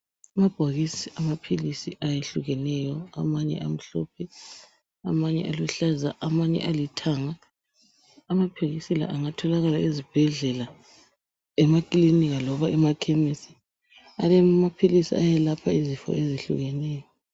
Amabhokisi amaphilisi ayehlukeneyo .Amanye amhlophe , amanye aluhlaza , amanye alithanga. Amaphilisi la engatholakala ezibhedlela, emakilinika loba emakhemisi. Alamaphilisi ayelapha izifo ezehlukeneyo.